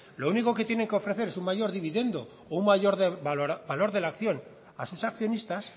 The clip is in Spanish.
lo único que tienen que ofrecer es un mayor dividiendo o un mayor de valor de la acción a sus accionistas